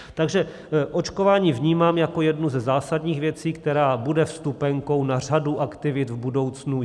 Takže očkování vnímám jako jednu ze zásadních věcí, která bude vstupenkou na řadu aktivit v budoucnu.